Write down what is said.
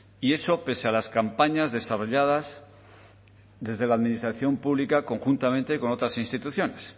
y eso pese a las campañas desarrolladas desde la administración pública conjuntamente con otras instituciones